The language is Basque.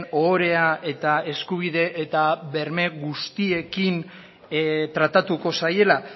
ohorea eta eskubide eta berme guztiekin tratatuko zaiela